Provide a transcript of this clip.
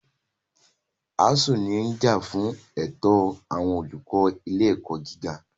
ASUU ní ó ń jà fún ẹ̀tọ́ àwọn olùkọ́ ilé ẹ̀kọ́ gíga.